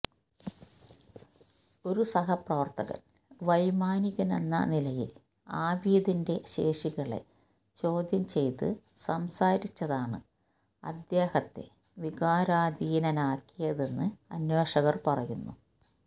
ഒരു സഹപ്രവർത്തകൻ വൈമാനികനെന്ന നിലയിൽ ആബിദിന്റെ ശേഷികളെ ചോദ്യം ചെയ്ത് സംസാരിച്ചതാണ് അദ്ദേഹത്തെ വികാരാധീനനാക്കിയതെന്ന് അന്വേഷകർ പറയുന്നു